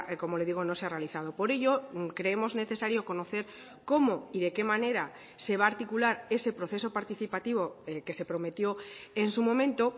como le digo no se ha realizado por ello creemos necesario conocer cómo y de qué manera se va a articular ese proceso participativo que se prometió en su momento